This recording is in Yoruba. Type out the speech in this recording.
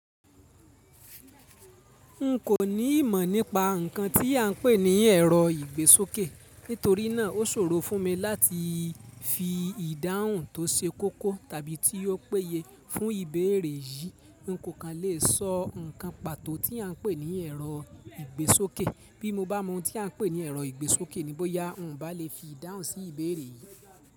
N kò ní ìmọ̀ nípa nkan tí a ń pè ní ẹrọ ìgbésókè. Nítorí náà ó ṣòro fún mi láti fi ìdáhùn tó ṣe kókó tàbí tí ó péye fún ìbéèrè yìí. Ko kan lè sọ nǹkan pàtó tí a ń pè ní ẹrọ ìgbésókè. Bí mo bá mọ ohun tí a ń pè ní ẹrọ ìgbésókè ni bóyá n o ba lè fi ìdáhùn sí ìbéèrè yìí.